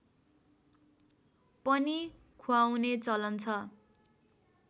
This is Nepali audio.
पनि ख्वाउने चलन छ